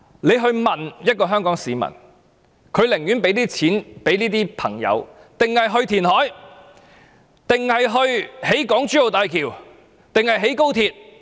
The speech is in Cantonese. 你且去問一名香港市民，他寧願將錢給這些朋友，還是用作填海，還是興建港珠澳大橋，還是興建高鐵？